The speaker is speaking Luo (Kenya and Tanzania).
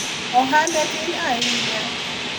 ohande tin ahinya